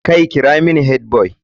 Hey!kira mini headboy.